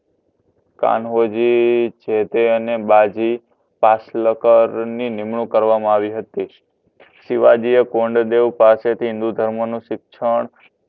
કાનોજી જેતે અને બાજી શિવાજીએ કોંડદેવ પાસેથી હિન્દુ ધર્મનું શિક્ષણ